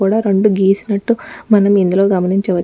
కూడా రెండు గీసినట్టు మనం ఇందులో గమనించవచ్చు --